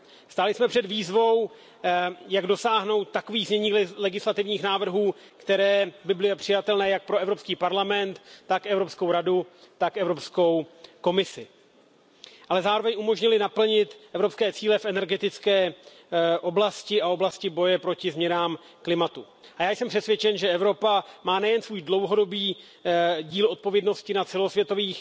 Stáli jsme před výzvou, jak dosáhnout takových znění legislativních návrhů, která by byla přijatelná jak pro Evropský parlament, tak Evropskou radu, tak i Evropskou komisi, ale zároveň umožnila naplnit evropské cíle v energetické oblasti a v oblasti boje proti změnám klimatu. Jsem přesvědčen, že Evropa má nejen svůj dlouhodobý díl odpovědnosti za celosvětové